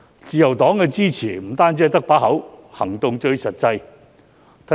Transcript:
自由黨並非只是口講支持，行動最實際。